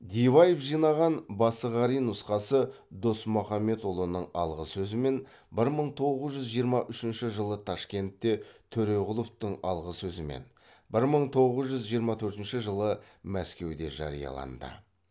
диваев жинаған басығарин нұсқасы досмұхамедұлының алғы сөзімен бір мың тоғыз жүз жиырма үшінші жылы ташкентте төреқұловтың алғы сөзімен бір мың тоғыз жүз жиырма төртінші жылы мәскеуде жарияланды